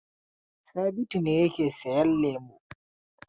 Sabitu ne yake sayan lemo.